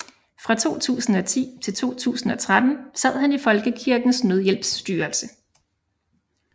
Fra 2010 til 2013 sad han i Folkekirkens Nødhjælps styrelse